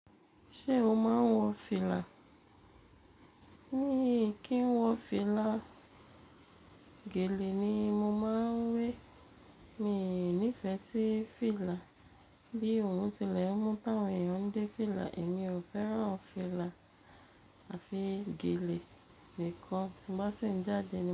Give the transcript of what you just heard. Ṣé o máa ń wọ fìlà? Mii kí n wọ fìlà, gèlè ni mo máa ń wé. Mi nífẹ̀ẹ́ sí fìlà. Bí òrun tilẹ̀ mú táwọn èèyàn dé fìlà, èmi ò fẹ́ran fìlà àfi gèlè nìkan tí n ba sì ń jáde ni.